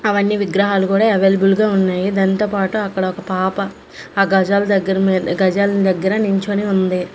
అవన్నీ విగ్రహాలు కూడా అవైలబుల్ గా ఉన్నాయి దానితో పాటు అక్కడ ఒక పాప ఆ గజాల దగ్గర మీద్ ఆ గజాల దగ్గర నించోని ఉంది.